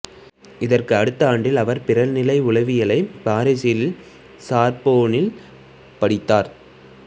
இதற்கு அடுத்த ஆண்டில் அவர் பிறழ்நிலை உளவியலை பாரீசில் சார்போனில் படித்தார்